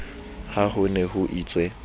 ha ho ne ho itswe